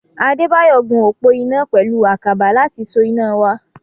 Adébáyọ̀ gun òpó iná pẹ̀lú àkàbà láti so iná wa.